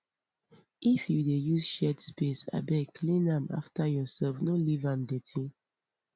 if you dey use shared space abeg clean am after yourself no leave am dirty